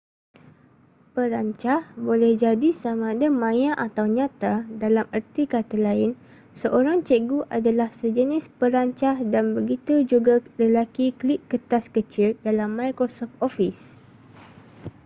perancah boleh jadi samada maya atau nyata dalam erti kata lain seorang cikgu adalah sejenis perancah dan begitu juga lelaki klip kertas kecil dalam microsoft office